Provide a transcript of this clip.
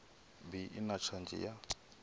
bi i na tshadzhi ya